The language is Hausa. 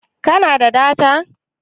Ka na da data?